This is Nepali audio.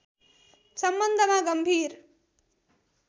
सम्बन्धमा गम्भीर